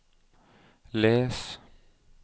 les